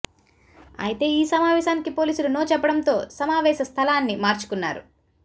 అయితే ఈ సమావేశానికి పోలీసులు నో చెప్పడంతో సమావేశ స్థలాన్ని మార్చుకున్నారు